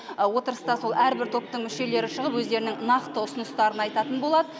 отырыста сол әрбір топтың мүшелері шығып өздерінің нақты ұсыныстарын айтатын болады